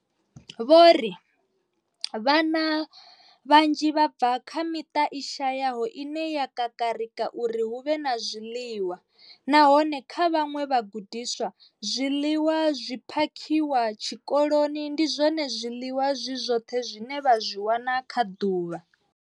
Vho ri vhana vhanzhi vha bva kha miṱa i shayaho ine ya kakarika uri hu vhe na zwiḽiwa, nahone kha vhaṅwe vhagudiswa, zwiḽiwa zwi phakhiwaho tshikoloni ndi zwone zwiḽiwa zwi zwoṱhe zwine vha zwi wana kha ḓuvha.